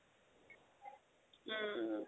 উম